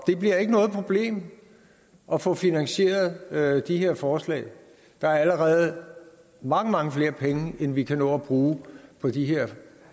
det bliver ikke noget problem at få finansieret de her forslag der er allerede mange mange flere penge end vi kan nå at bruge på de her